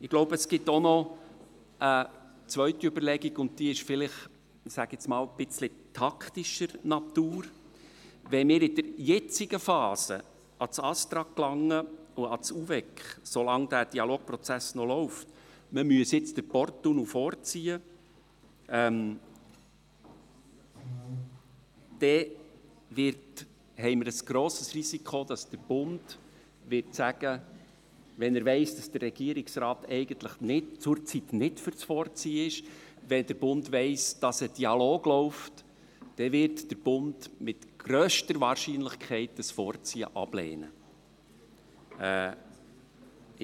Ich glaube, es gibt auch noch eine zweite Überlegung, und diese ist vielleicht, ich sage einmal, etwas taktischer Natur: Wenn wir in der jetzigen Phase, solange der Dialogprozess noch läuft, ans Bundesamt für Strasse (ASTRA) und ans Eidgenössische Departement für Umwelt, Verkehr, Energie und Kommunikation (UVEK) gelangen und sagen, man müsse nun den Porttunnel vorziehen, haben wir ein grosses Risiko, dass der Bund – wenn er weiss, dass der Regierungsrat zurzeit eigentlich nicht für das Vorziehen ist, wenn er weiss, dass ein Dialog läuft – mit grösster Wahrscheinlichkeit das Vorziehen ablehnen wird.